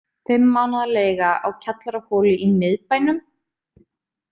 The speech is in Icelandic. Fimm mánaða leiga á kjallaraholu í miðbænum?